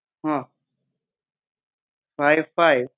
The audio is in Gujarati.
હા ફાઈવ ફાઈવ